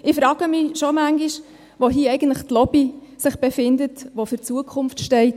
Ich frage mich schon manchmal, wo sich hier eigentlich die Lobby befindet, die für die Zukunft einsteht.